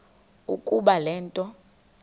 ukuba le nto